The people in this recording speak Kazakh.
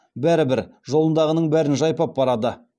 бәрібір жолындағының бәрін жайпап барады